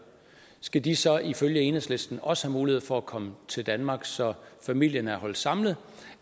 skal de så ifølge enhedslisten også have mulighed for at komme til danmark så familien er holdt samlet